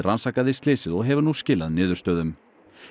rannsakaði slysið og hefur nú skilað niðurstöðum